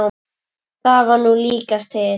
Það var nú líkast til.